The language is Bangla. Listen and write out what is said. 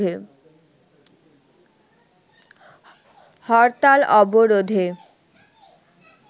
হরতাল-অবরোধে